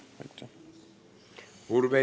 Urve Tiidus, palun!